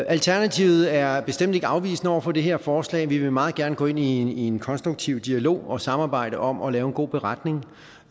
alternativet er bestemt ikke afvisende over for det her forslag vi vil meget gerne gå ind i en konstruktiv dialog og et samarbejde om at lave en god beretning